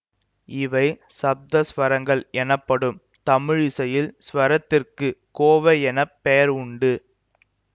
இவை சப்த ஸ்வரங்கள் எனப்படும் தமிழிசையில் ஸ்வரத்திற்கு கோவை என பெயர் உண்டு